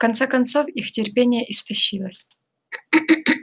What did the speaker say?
в конце концов их терпение истощилось